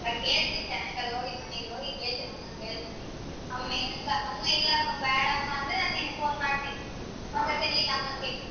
ನಾ ಕೇಳ್ತೀನಿ ಸಾಯಂಕಾಲ ಹೋಗಿ ಮನೆಗೆ ಹೋಗಿ ಕೇಳ್ತೀನಿ ಅಮ್ಮನ್ ಕೇಳ್ತೀನಿ ಅಮ್ಮಾ ಎನಂತಾಳೆ ಅಮ್ಮಾ ಇಲ್ಲ ಬೇಡಮ್ಮಾ ಅಂದ್ರೆ ನಾ ನಿನ್ಗ್ phone ಮಾಡ್ತೀನಿ ಒಂದ್ ಸತೆ ನಿನ್ ಅಮ್ಮನ್ ಕೇಳು.